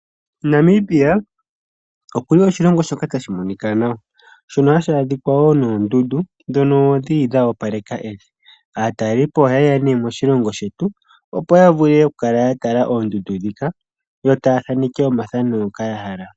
Namibia okuli oshilongo shoka tashi monika nawa shono hashi adhika woo noondundu dhono dhili dha opaleka evi. Aatalelipo ohaye ya ne moshilongo shetu opo yavule okukala yatala oondundu dhika yo taya thaneke omathano ngoka yahala.